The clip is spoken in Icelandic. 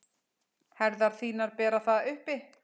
Herðar þínar bera það uppi.